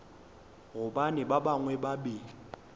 gobane ba bangwe ba be